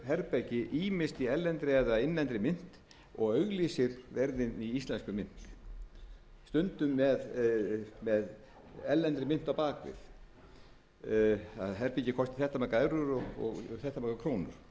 herbergi ýmist í erlendri eða innlendri mynt og auglýsir verðin í íslenskri mynt stundum með erlendri mynt á bak við að herbergið kosti þetta margar evrur og þetta margar krónur